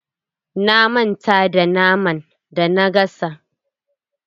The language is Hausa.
Na manta da naman da na gasa.